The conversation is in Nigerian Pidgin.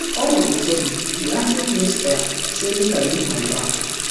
all of a sudden di acting principal say make i look my back